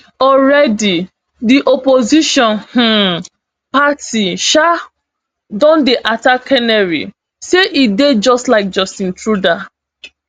alreadi di opposition um party um don dey attack canary say e dey just like justin truda